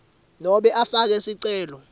nobe ufake sicelo